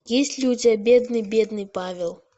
есть ли у тебя бедный бедный павел